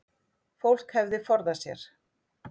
Fólk hefði forðað sér